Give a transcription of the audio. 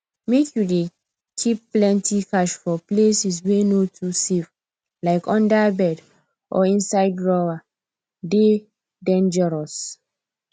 make you dey keep plenty cash for places wey no too safe like under bed or inside drawer dey dangerous